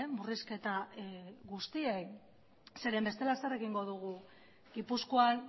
murrizketa guztiei zeren bestela zer egingo dugu gipuzkoan